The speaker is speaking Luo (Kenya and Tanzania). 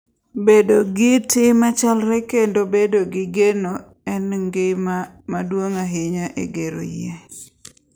Bedo gi tim machalre kendo bedo gi geno en gima duong’ ahinya e gero yie.